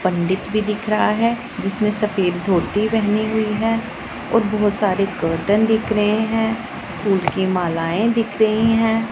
पंडित भी दिख रहा है जिसने सफेद धोती पेहनी हुई है और बहोत सारी कर्टेन दिख रहे हैं फूलों की मालाए दिख रही हैं।